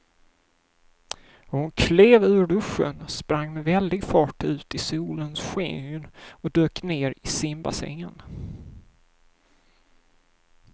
Hon klev ur duschen, sprang med väldig fart ut i solens sken och dök ner i simbassängen.